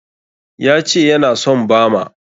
Ya ce ya na son bama?